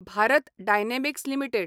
Bharat Dynamics limited